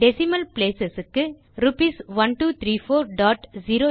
decimal place க்கு RS